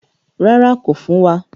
Rárá, kò fún wa.